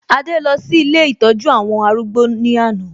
Adé lọ sí ilé ìtọ́jú àwọn arúgbó ní àná